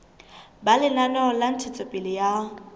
ba lenaneo la ntshetsopele ya